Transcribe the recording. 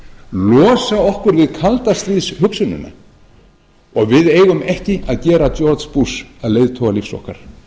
losa okkur við kaldastríðshugsunina og við eigum ekki að gera george bush að leiðtoga lífs okkar